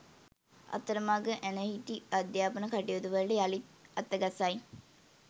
අතරමඟ ඇනහිටි අධ්‍යාපන කටයුතුවලට යළිත් අතගසයි